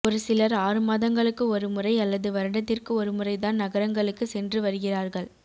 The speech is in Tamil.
ஒருசிலர் ஆறுமாதங்களுக்கு ஒருமுறை அல்லது வருடத்திற்கு ஒருமுறைதான் நகரங்களுக்கு சென்று வருகிறார்கள்